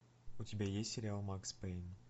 у тебя есть сериал макс пэйн